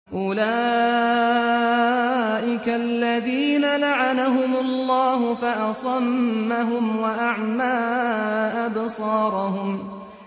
أُولَٰئِكَ الَّذِينَ لَعَنَهُمُ اللَّهُ فَأَصَمَّهُمْ وَأَعْمَىٰ أَبْصَارَهُمْ